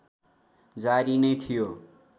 जारी नै थियो